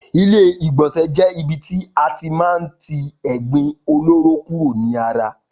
Ilé ìgbònsè jé ibi tí a ti má n ti ègbin olóró kúrò ní ara wa